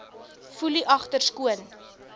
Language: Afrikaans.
foelie agter skoon